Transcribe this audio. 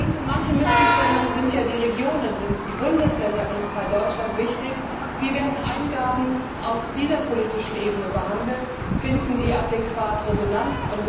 Und in manchen Mitgliedstaaten sind ja die Regionen, die Bundesländer wie im Fall Deutschlands wichtig, wie werden Eingaben aus dieser politischen Ebene behandelt, finden die adäquat Resonanz?